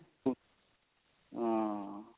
ਹਾਂ